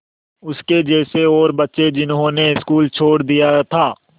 उसके जैसे और बच्चे जिन्होंने स्कूल छोड़ दिया था